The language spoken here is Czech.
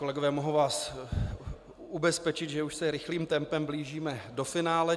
Kolegové, mohu vás ubezpečit, že už se rychlým tempem blížíme do finále.